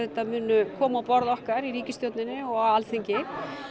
munu koma á borð okkar í ríkisstjórninni og á Alþingi